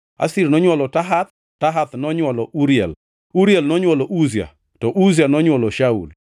Asir nonywolo Tahath, Tahath nonywolo Uriel, Uriel nonywolo Uzia, to Uzia nonywolo Shaul.